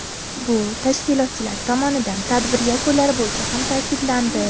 Bu tashkilotchilar tomonidan tadbir yakunlari bo‘yicha ham ta’kidlandi.